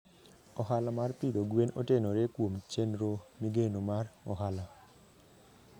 Ohala mar pidho gwen otenore kuom chenro migeno mar ohala.